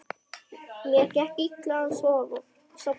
Mér gekk illa að sofna.